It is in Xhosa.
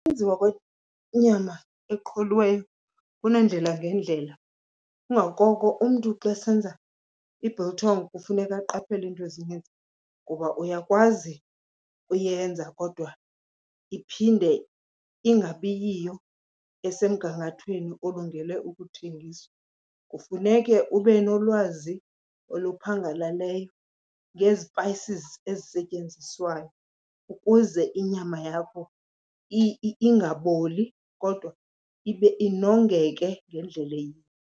Ukwenziwa kwenyama eqholiweyo kuneendlela ngeendlela, kungakoko umntu xa esenza i-biltong kufuneka aqaphele iinto ezininzi kuba uyakwazi uyenza kodwa iphinde ingabiyiyo esemgangathweni olungele ukuthengiswa. Kufuneke ube nolwazi oluphangaleleyo ngezipayisizi ezisetyenziswayo ukuze inyama yakho ingaboli kodwa ibe inongeke ngendlela eyiyo.